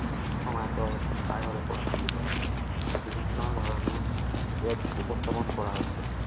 প্ৰচলিত আছে আৰু বিভিন্ন ধৰণেও এক উপস্থাপন কৰা হৈছে